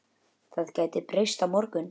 Það gæti breyst á morgun.